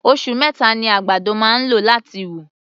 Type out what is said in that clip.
Osù meta ni àgbàdo máa ń lò láti wù.